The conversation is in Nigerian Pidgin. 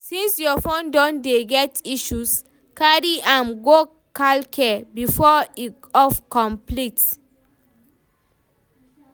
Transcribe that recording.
since your phone don dey get issues, carry am go calcare before e off complete